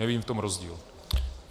Nevidím v tom rozdíl.